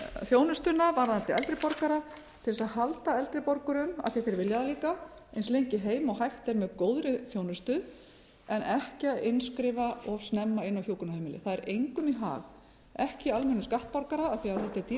þjónustuna varðandi eldri borgara til þess að halda eldri borgurum af því þeir vilja það líka eins lengi heima og hægt er með góðri þjónustu en ekki að innskrifa of snemma inn á hjúkrunarheimili það er engum í hag ekki almennum skattborgara af því þetta er dýr